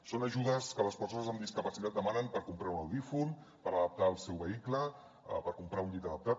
són ajudes que les persones amb discapacitat demanen per comprar un audiòfon per adaptar el seu vehicle per comprar un llit adaptat